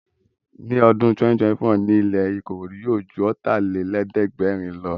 Ní ọdún 2024, ilẹ́ ní Ìkòròdú yóò ju Ọ̀tàlélẹ̀ẹ́dẹ́gbẹ̀rin lọ